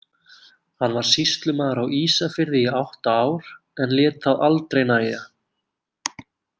Hann var sýslumaður á Ísafirði í átta ár en lét það aldrei nægja.